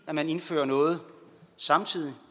når man indfører noget samtidig